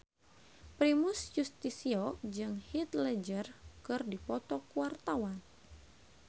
Primus Yustisio jeung Heath Ledger keur dipoto ku wartawan